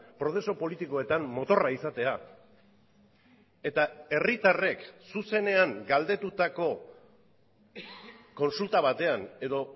prozesu politikoetan motorra izatea eta herritarrek zuzenean galdetutako kontsulta batean edo